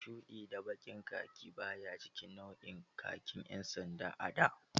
Shuɗi da baƙin khaki baya cikin nau'in khaki ƴan sanda a da.